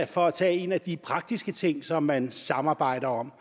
for at tage en af de praktiske ting som man samarbejder om